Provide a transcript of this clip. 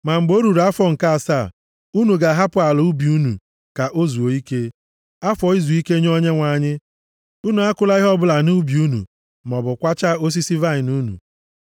Ma mgbe o ruru afọ nke asaa, unu ga-ahapụ ala ubi unu ka o zuo ike, afọ izuike nye Onyenwe anyị. Unu akụla ihe ọbụla nʼubi unu maọbụ kwachaa osisi vaịnị unu.